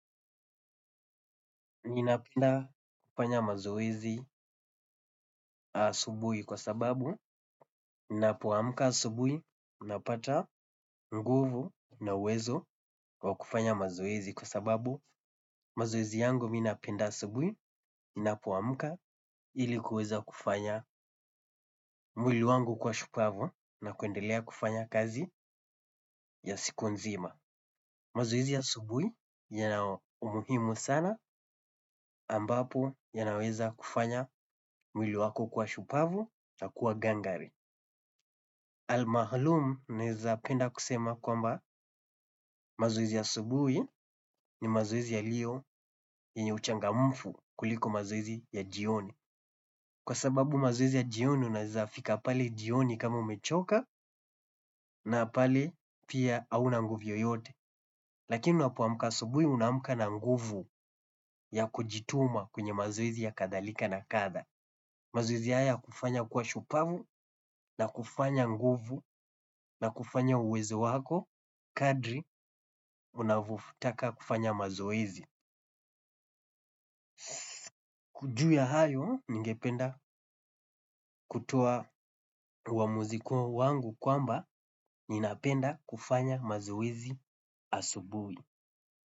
Mimi napenda kufanya mazoezi asubuhi kwa sababu ninapoamka asubuhi napata nguvu na uwezo wa kufanya mazoezi kwa sababu mazoezi yangu mimi napenda asubuhi ninapoamka ili kuweza kufanya mwili wangu kuwa shupavu na kuendelea kufanya kazi ya siku nzima. Mazoezi ya asubuhi yana umuhimu sana ambapo yanaweza kufanya mwili wako kuwa shupavu na kuwa gangari. Almahalum naweza penda kusema kwamba mazoezi ya asubuhi ni mazoezi yaliyo yenye uchangamfu kuliko mazoezi ya jioni. Kwa sababu mazoezi ya jioni unaweza fika pale jioni kama umechoka na pale pia hauna nguvu yoyote. Lakini unapoamka asubuhi unaamka na nguvu ya kujituma kwenye mazoezi na kadhalika na kadha. Mazoezi haya hukufanya kuwa shupavu na kufanya nguvu na kufanya uwezo wako kadri unavyotaka kufanya mazoezi. Juu ya hayo, ningependa kutoa uamuzi wangu kwamba, ninapenda kufanya mazoezi asubuhi.